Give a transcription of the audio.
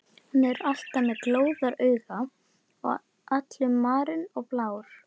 Hann er alltaf með glóðarauga og allur marinn og blár.